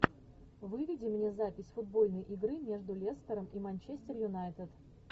выведи мне запись футбольной игры между лестером и манчестер юнайтед